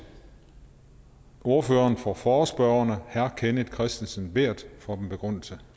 ordføreren for forespørgerne herre kenneth kristensen berth for en begrundelse